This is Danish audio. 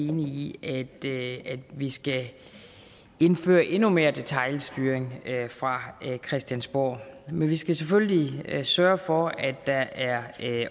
enig i at vi skal indføre endnu mere detailstyring fra christiansborg men vi skal selvfølgelig sørge for at der er